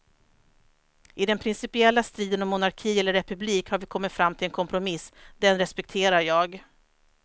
I den principiella striden om monarki eller republik har vi kommit fram till en kompromiss, den respekterar jag.